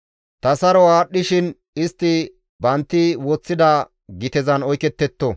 Ta saro aadhdhishin istti bantti woththida gitezan oyketetto.